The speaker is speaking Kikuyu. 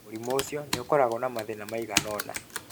Mũrimũ ũcio nĩ ũkoragwo na mathĩna maigana ũna.